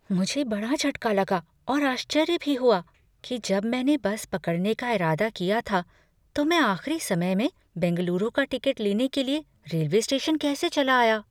मुझे बड़ा झटका लगा और आश्चर्य भी हुआ कि जब मैंने बस पकड़ने का इरादा किया था तो मैं आख़िरी समय में बेंगलुरु का टिकट लेने के लिए रेलवे स्टेशन कैसे चला आया।